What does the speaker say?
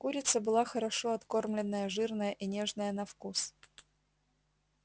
курица была хорошо откормленная жирная и нежная на вкус